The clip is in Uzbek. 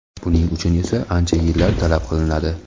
Buning uchun esa ancha yillar talab qilinadi.